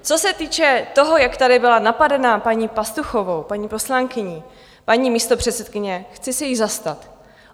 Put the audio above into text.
Co se týče toho, jak tady byla napadena paní Pastuchovou, paní poslankyní, paní místopředsedkyně, chci se jí zastat.